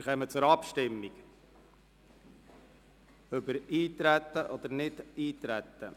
Wir kommen zur Abstimmung über das Eintreten oder Nichteintreten.